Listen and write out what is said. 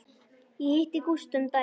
Ég hitti Gústa um daginn.